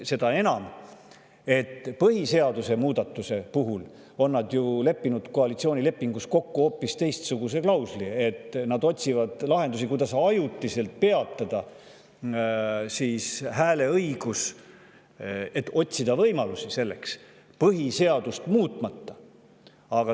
Seda enam, et nad on ju koalitsioonilepingus põhiseaduse muudatuse puhul leppinud kokku hoopis teistsuguses klauslis: et nad otsivad lahendusi, võimalusi, kuidas peatada ajutiselt hääleõigus põhiseadust muutmata.